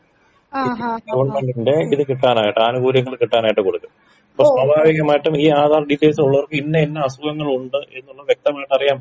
ഗവൺമെന്റിന്റെ ഇത് കിട്ടാനായിട്ട് ആനുകൂല്യങ്ങൾ കിട്ടാനായിട്ട് കൊടുക്കും അപ്പൊ സ്വാഭാവികമായി ഈ ആധാർ ഡീറ്റെയിൽസ് ഉള്ളവർക്ക് ഇന്ന ഇന്ന അസുഗങ്ങളുണ്ട് എന്നുള്ളത് വ്യക്തമായി അറിയാൻ പറ്റും.